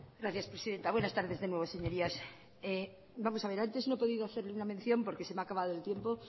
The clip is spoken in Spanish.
gracias presidenta buenas tardes de nuevo señorías vamos a ver antes no he podido hacer ninguna mención porque se me ha acabado el tiempo